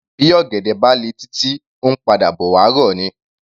Bí ọ̀gẹ̀dẹ̀ bá le títí, ó ńpadà bọ̀ wá rọ̀ ni.